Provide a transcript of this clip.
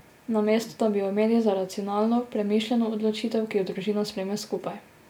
Namesto da bi jo imeli za racionalno, premišljeno odločitev, ki jo družina sprejme skupaj.